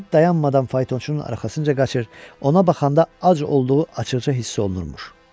İt dayanmadan faytonçunun arxasınca qaçır, ona baxanda ac olduğu açıqca hiss olunurmuş.